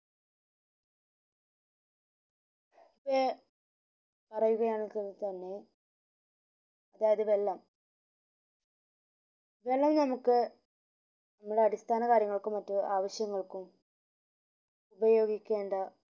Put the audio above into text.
പറയുകയാണെകിൽ തന്നെ അതായത് വെള്ളം വെള്ളം നമുക് ഇവിടെ അടിസ്ഥാന കാര്യങ്ങൾക്കും മറ്റു ആവിശ്യങ്ങൾക്കും ഉപയോഗിക്കേണ്ട